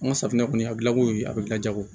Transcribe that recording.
An ka safinɛ kɔni a dilanko ye a bɛ gilan jago